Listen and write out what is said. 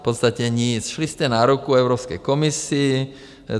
V podstatě nic, šli jste na ruku Evropské komisi.